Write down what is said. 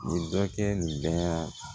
Nin dɔ kɛ nin bɛɛ